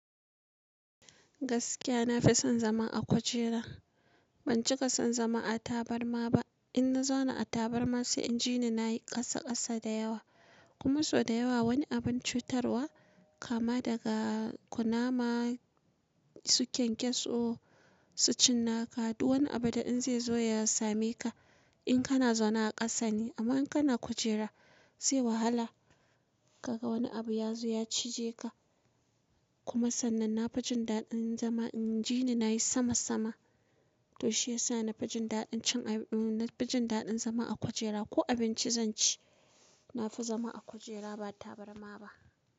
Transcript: Gaskiya nafi son zama a kujera. Ban cika son zama a tabarma ba. In na zauna a tabarma sai inji ni nayi ƙasa ƙasa da yawa. Kuma sau da yawa wani abin cutarwa kama daga kunama sukyankyaso su cinna ka. Duk wani abu da in zai zo ya same ka in kana zauna a ƙasa ne. Amma in kana kujera zai wahala ka ga wani abu ya zo ya cije ka. Kuma sannan na fi jin daɗin zama inji ni nayi sama sama. To shiyasa na fi jin daɗin cin, na fi jin daɗin zama a kujera ko abinci zan ci. Nafi zama a kujera ba tabarma ba.